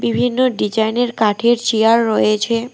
বিভিন্ন ডিজাইন -এর কাঠের চিয়ার রয়েছে।